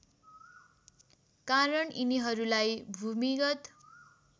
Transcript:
कारण यिनीहरूलाई भूमिगत